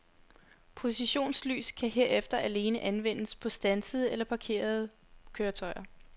Positionslys kan herefter alene anvendes på standsede eller parkerede køretøjer.